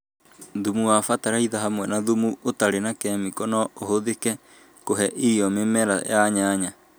Thumu wa bataraitha hamwe na thumu ũtarĩ na kemiko no ũhũthĩke kũhe irio mĩmera ya nyanya